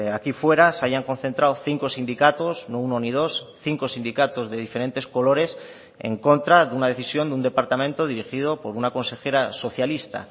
aquí fuera se hayan concentrado cinco sindicatos no uno ni dos cinco sindicatos de diferentes colores en contra de una decisión de un departamento dirigido por una consejera socialista